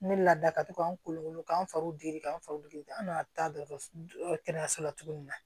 Ne laada ka to k'an kolokolo k'an faw di k'an faw deli an'a taa dɔkɔtɔrɔso kɛnɛyaso la tuguni